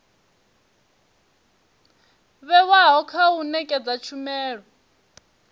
vhewaho kha u nekedza tshumelo